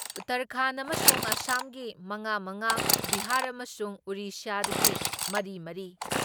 ꯎꯠꯇꯔꯈꯟꯗ ꯑꯃꯁꯨꯡ ꯑꯁꯥꯝꯒꯤ ꯃꯉꯥꯃꯉꯥ, ꯕꯤꯍꯥꯔ ꯑꯃꯁꯨꯡ ꯎꯔꯤꯁ꯭ꯌꯥꯒꯤ ꯃꯔꯤꯃꯔꯤ,